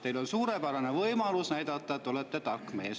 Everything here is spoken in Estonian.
Teil on suurepärane võimalus näidata, et te olete tark mees.